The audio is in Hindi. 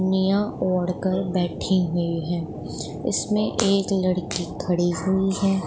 निया ओढ कर बैठी हुईं हैं उसमें एक लड़की खड़ी हुईं हैं।